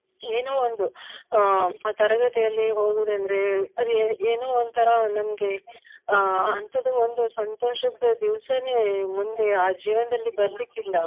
ಏನೋ ಒಂದು ಅಹ್ ತರಗತಿಯಲ್ಲಿ ಹೋಗುದಂದ್ರೆ ಅದು ಏನೋ ಒಂತರ ನಮ್ಗೆ ಅಹ್ ಅಂತದ್ದು ಒಂದು ಸಂತೋಷದ ದಿವ್ಸನೆ ಮುಂದೆ ಆ ಜೀವನದಲ್ಲೀ ಬರ್ಲಿಕ್ಕಿಲ್ಲ